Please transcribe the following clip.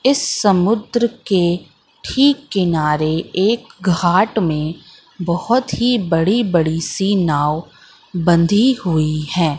इस समुद्र के ठीक किनारे एक घाट में बहुत ही बड़ी बड़ी सी नाव बंधी हुई है।